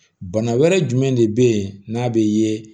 Bana wɛrɛ jumɛn de be yen n'a be ye